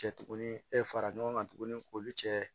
Cɛ tuguni e fara ɲɔgɔn kan tuguni k'olu cɛ